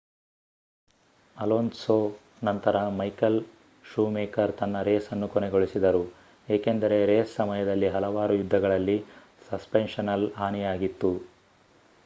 Alonso ನಂತರ Michael Schumacher ತನ್ನ ರೇಸನ್ನು ಕೊನೆಗೊಳಿಸಿದರು ಏಕೆಂದರೆ ರೇಸ್ ಸಮಯದಲ್ಲಿ ಹಲವಾರು ಯುದ್ಧಗಳಲ್ಲಿ ಸಸ್ಪೆನ್ಷನಲ್ ಹಾನಿಯಾಗಿತ್ತು